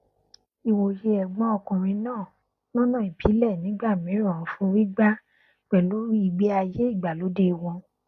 ìwòye ẹgbọn ọkùnrin náà lọnà ìbílẹ nígbà mìíràn forígbárí pẹlú ìgbé ayé ìgbàlódé wọn